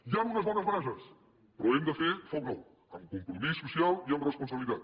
hi han unes bones bases però hem de fer foc nou amb compromís social i amb responsabilitat